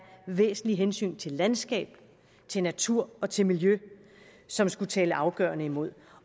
væsentlige hensyn til landskab til natur og til miljø som skulle tale afgørende imod